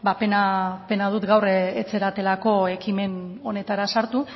pena dut gaur ez zaretela ekimen honetara sartu